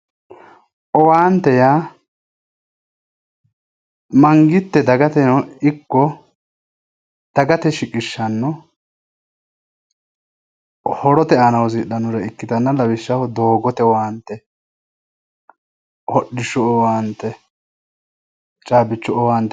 Owaante:-owaante yaa mangitte dagateno ikko dagate shiqishanno horote horoonsidhannore ikkitanna lawishshaho doogote owaante hodhishshu owaante caabichu owaante